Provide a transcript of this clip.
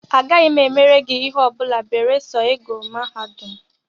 Agaghị m emere gị ihe ọ bụla beresọ I gụrụ mahadum!